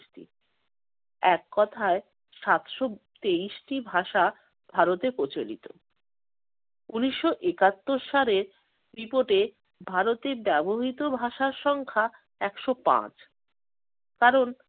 এক কথায় সাতশ তেইশটি ভাষা ভারতে প্রচলিত। ঊনিশশো একাত্তর সালের বিপদে ভারতের ব্যবহৃত ভাষার সংখ্যা একশ পাঁচ। কারণ